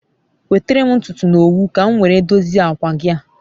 Nwetere m ntutu na owu ka m nwere a dozie akwa gi a